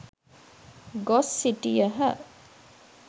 ගොස් සිටියහ.